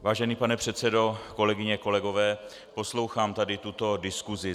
Vážený pane předsedo, kolegyně, kolegové, poslouchám tady tuto diskusi.